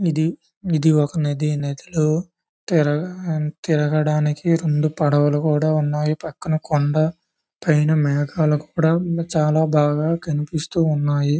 ఇది ఇది ఒక నది నదిలో తిరగడానికి రెండు పడవలు కూడా ఉన్నాయి. పక్కన కొండ పైన మేఘాలు కూడా చాలా బాగా కనిపిస్తున్నాయ్.